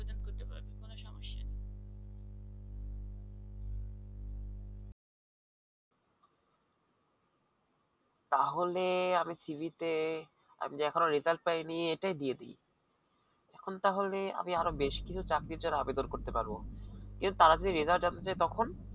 তাহলে আমি cv তে আমি এখনো result পাইনি এটাই দিয়ে দিই এখন তাহলে আমি আরো বেশি কিছু চাকরির জন্য আবেদন করতে পারব। কিন্তু তারা যদি result জানতে চাই তখন